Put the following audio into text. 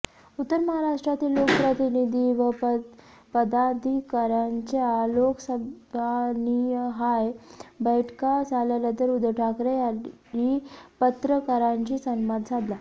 उत्तर महाराष्ट्रातील लोकप्रतिनिधी व पदाधिकाऱ्यांच्या लोकसभानिहाय बैठका झाल्यानंतर उद्धव ठाकरे यांनी पत्रकारांशी संवाद साधला